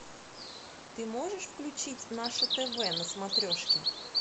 ты можешь включить наше тв на смотрешке